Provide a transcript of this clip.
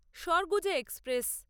Surguja express